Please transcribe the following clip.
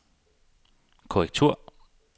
korrektur